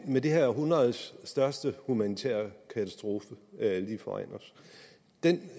med dette århundredes største humanitære katastrofe lige foran os den